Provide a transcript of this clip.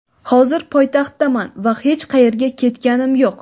hozir poytaxtdaman va hech qayerga ketganim yo‘q.